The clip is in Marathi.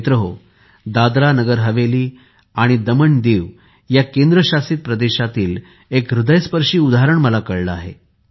मित्रांनो दादरनगर हवेली आणि दमनदिव या केंद्रशासित प्रदेशातील एक हृदयस्पर्शी उदाहरण मला कळले आहे